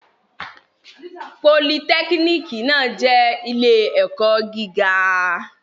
Politẹ́kínìkì náà jẹ́ ilé-ẹ̀kọ́ gíga.